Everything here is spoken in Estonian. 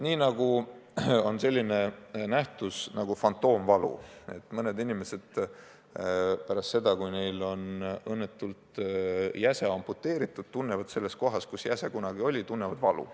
On olemas selline nähtus nagu fantoomvalu: mõned inimesed tunnevad pärast seda, kui neil on õnnetul kombel jäse amputeeritud, selles kohas, kus jäse kunagi oli, valu.